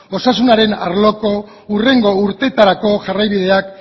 osasunaren arloko hurrengo urtetarako jarraibideak